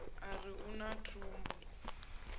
a ri u na thumbu